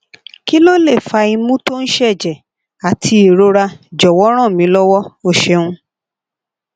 ki lo le fa imu to n seje ati irora jowo ran mi lowo o seun